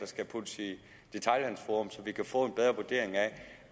skal puttes i et detailhandelsforum så vi kan få en bedre vurdering